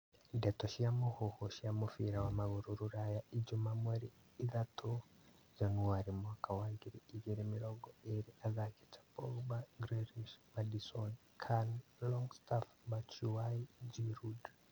Ndeto cia mũhuhu cia mũbira wa magũrũ Rũraya ijumaa mweri ithatũ Januarĩ mwaka wa ngiri igĩrĩ mĩrongo ĩrĩ athaki ta Pogba, Grealish, Maddison, Can, Longstaff, Batshuayi, Giroud